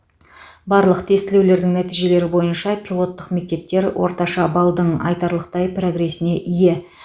барлық тестілеулердің нәтижелері бойынша пилоттық мектептер орташа баллдың айтарлықтай прогресіне ие